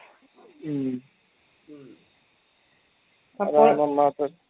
ഉം